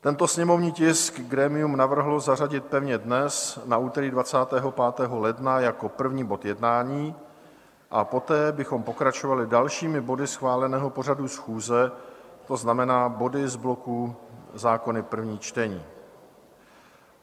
Tento sněmovní tisk grémium navrhlo zařadit pevně dnes, na úterý 25. ledna, jako první bod jednání a poté bychom pokračovali dalšími body schváleného pořadu schůze, to znamená body z bloku Zákony prvních čtení.